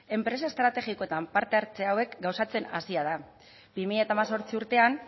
enpresa estrategikoetan parte hartze hauek gauzatzen hasia da bi mila hemezortzi urtean